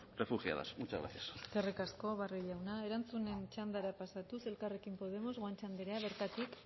refugiadas muchas gracias eskerrik asko barrio jauna erantzunen txandara pasatuz elkarrekin podemos guanche andrea bertatik